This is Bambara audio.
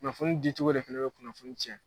Kunnafoni di cogo de fana bɛ kunnafoni cɛn.